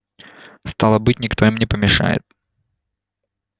стало быть никто им не помешает